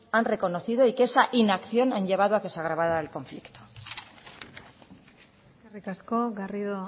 han reconocido y que esa inacción ha llevado a que se agravara el conflicto eskerrik asko garrido